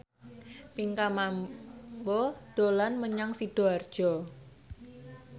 Pinkan Mambo dolan menyang Sidoarjo